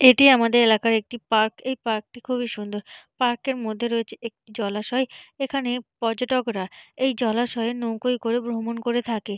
এটি আমাদের এলাকার একটি পার্ক এই পার্ক -টি খুবই সুন্দর পার্ক -এর মধ্যে রয়েছে একটি জলাশয় এখানে পর্যটকরা এই জলাশয়ে নৌকোয় করে ভ্রমন করে থাকে।